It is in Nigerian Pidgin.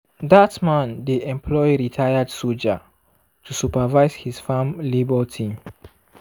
dat man dey employ retired soldier to supervise his farm labour team.